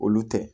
Olu tɛ